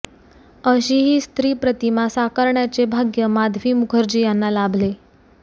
अशी ही स्त्री प्रतिमा साकारण्याचे भाग्य माधवी मुखर्जी याना लाभले